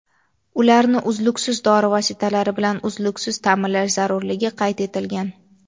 ularni zarur dori vositalari bilan uzluksiz ta’minlash zarurligi qayd etilgan.